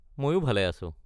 মইও ভালে আছো।